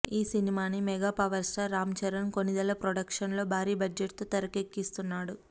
ఈ సినిమాని mega power star Ram Charan Konidela production లో భారీ బడ్జెట్ తో తెరకెక్కిస్తున్నాడు